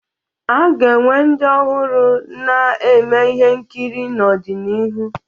A ga-enwe ndị ọhụrụ na-eme ihe nkiri n'ọdịnihu.